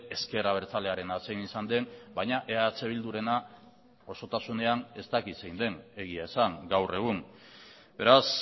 ezker abertzalearena zein izan den baina eh bildurena osotasunean ez dakit zein den egia esan gaur egun beraz